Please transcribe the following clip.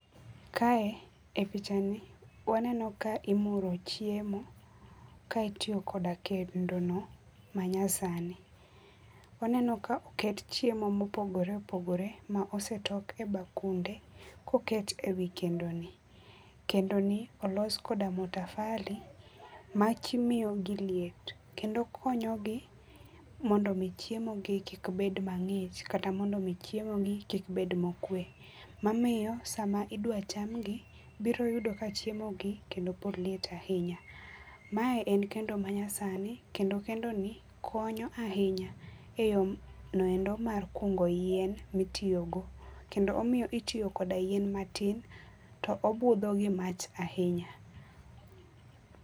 Kae e oichani waneno ka imuro chiemo ka itiyo koda kendono manyasani. Waneno ka oket chiemo mopogore opogore mosetok e bakunde ka oket e kendoni. Kendoni olos kod matofali mamiyo gi liet kendo konyogi mondo omi chiemo gi kik bed mangich kata kik bed mokwe mamiyo sama idwa chamgi biro yudo ka chiemo gi kendo pod liet ahinya. Mae en kendo manyasani kendo kendo ni konyo ahinya e yonoendo mar kugo yien ma itiyo go kendo omiyo itiyo koda yien matin kendo obudho gi mach ahinya